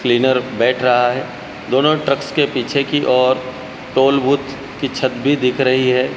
Cleaner बैठ रहा है दोनों ट्रक्स के पीछे की ओर टोल बूथ की छत भी दिख रही है।